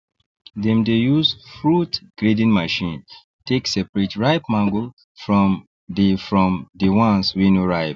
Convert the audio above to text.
dem dey use fruit grading machine take separate ripe mango from de from de ones wey no ripe